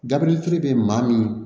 Dabirili kelen bɛ maa min